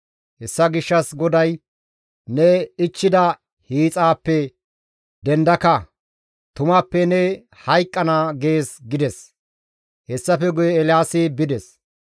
Hessa gishshas GODAY, ‹Ne ichchida hiixaappe dendaka; tumappe ne hayqqana› gees» gides; hessafe guye Eelaasi bides.